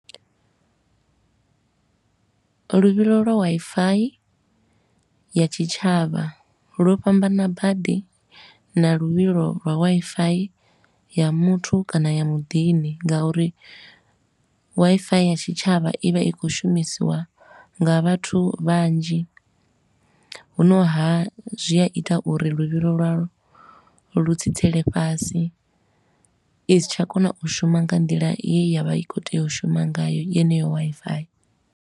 Luvhilo lwa Wi-Fi ya tshitshavha lwo fhambana badi na luvhilo lwa Wi-Fi ya muthu kana ya muḓini, nga uri Wi-Fi ya tshitshavha i vha i khou shumisiwa nga vhathu vhanzhi. Hu no ha, zwi a ita uri luvhilo lwa lwo lu tsitsele fhasi, i si tsha kona u shuma nga nḓila ye ya vha i khou tea u shuma ngayo yeneyo Wi-Fi.